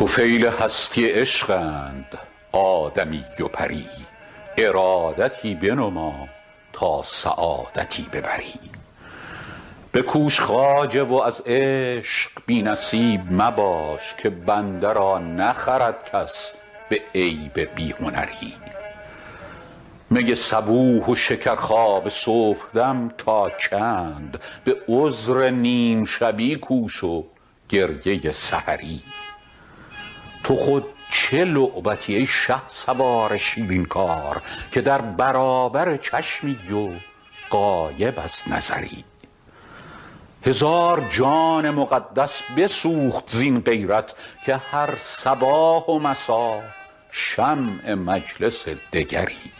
طفیل هستی عشقند آدمی و پری ارادتی بنما تا سعادتی ببری بکوش خواجه و از عشق بی نصیب مباش که بنده را نخرد کس به عیب بی هنری می صبوح و شکرخواب صبحدم تا چند به عذر نیم شبی کوش و گریه سحری تو خود چه لعبتی ای شهسوار شیرین کار که در برابر چشمی و غایب از نظری هزار جان مقدس بسوخت زین غیرت که هر صباح و مسا شمع مجلس دگری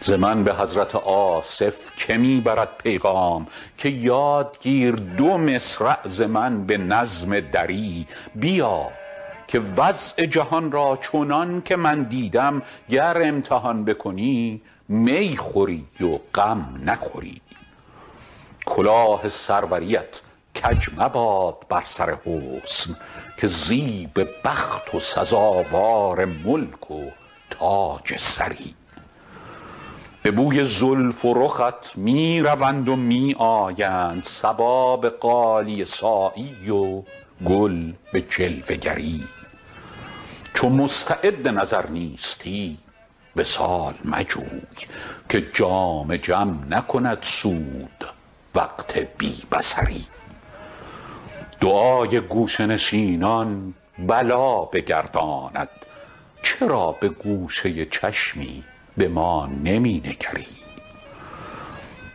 ز من به حضرت آصف که می برد پیغام که یاد گیر دو مصرع ز من به نظم دری بیا که وضع جهان را چنان که من دیدم گر امتحان بکنی می خوری و غم نخوری کلاه سروریت کج مباد بر سر حسن که زیب بخت و سزاوار ملک و تاج سری به بوی زلف و رخت می روند و می آیند صبا به غالیه سایی و گل به جلوه گری چو مستعد نظر نیستی وصال مجوی که جام جم نکند سود وقت بی بصری دعای گوشه نشینان بلا بگرداند چرا به گوشه چشمی به ما نمی نگری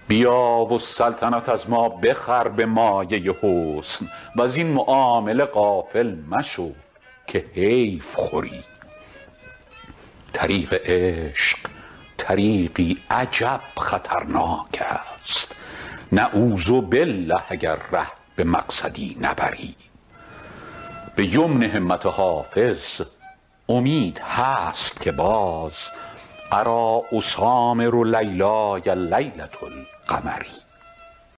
بیا و سلطنت از ما بخر به مایه حسن وزین معامله غافل مشو که حیف خوری طریق عشق طریقی عجب خطرناک است نعوذبالله اگر ره به مقصدی نبری به یمن همت حافظ امید هست که باز اریٰ اسامر لیلای لیلة القمری